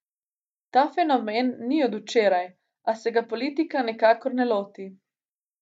Ta fenomen ni od včeraj, a se ga politika nikakor ne loti.